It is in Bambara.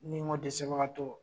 Ni n go dɛsɛbagatɔw